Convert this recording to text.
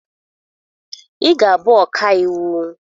Ị ga-abụ ọka iwu!